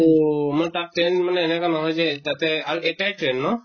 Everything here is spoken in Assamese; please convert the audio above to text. অহ মই তাত train মানে এনেকা নহয় যে আতে আৰু একটাই train ন?